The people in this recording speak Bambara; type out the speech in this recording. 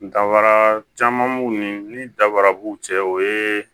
Dafara caman b'u ni daraburu cɛ o ye